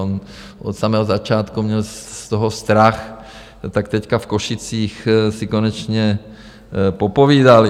On od samého začátku měl z toho strach, tak teď v Košicích si konečně popovídali.